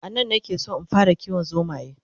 anan na ke San in fara kiwon zomaye